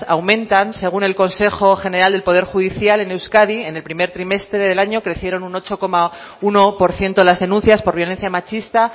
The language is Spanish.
aumentan según el consejo general del poder judicial en euskadi en el primer trimestre del año crecieron un ocho coma uno por ciento las denuncias por violencia machista